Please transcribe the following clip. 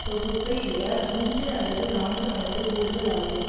தொகுப்பை விட மூன்று அல்லது நான்கு மடங்கு கூடுதல் ஆகும்